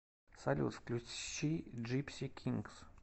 салют включи джипси кингс